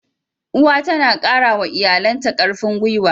Uwa tana kara wa iyalanta karfin gwuiwa.